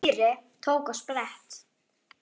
Týri tók á sprett.